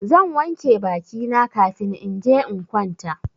Zan wanke baki na kafin in je in kwanta.